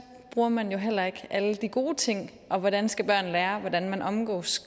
bruger man jo heller ikke alle de gode ting og hvordan skal børn lære hvordan man omgås